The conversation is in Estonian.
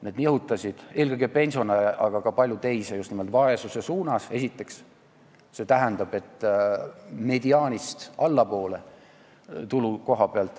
See nihutas eelkõige pensionäre, aga ka paljusid teisi just nimelt vaesuse suunas, st tulu koha pealt mediaanist allapoole.